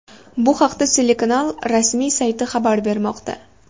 Bu haqda telekanal rasmiy sayti xabar bermoqda .